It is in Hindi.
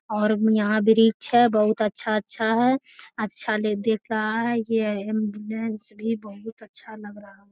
और यहाँ वृक्ष है। बहुत अच्छा-अच्छा है। अच्छा ले दिख रहा है ये इसलिए बहुत अच्छा लग रहा है।